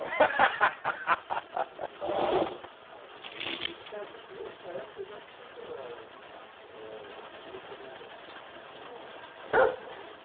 Nessa época já tinha livros infantis que se liam na sala de aula?